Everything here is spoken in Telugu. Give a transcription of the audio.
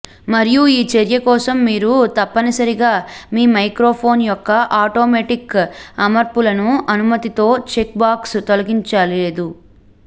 మరియు ఈ చర్య కోసం మీరు తప్పనిసరిగా మీ మైక్రోఫోన్ యొక్క ఆటోమేటిక్ అమర్పులను అనుమతితో చెక్ బాక్స్ తొలగించలేదు